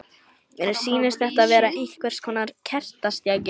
Mér sýnist þetta vera einhvers konar kertastjaki.